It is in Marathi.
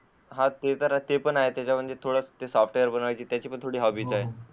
ते पण आहे त्यामध्ये थोडा सॉफ्टवेअर च आहे त्याची पण थोडी हॉबी आहे.